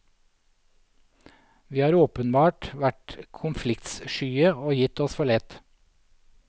Vi har åpenbart vært konfliktskye og gitt oss for lett.